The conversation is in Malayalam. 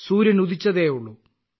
സൂര്യൻ ഉദിച്ചതേയുള്ളു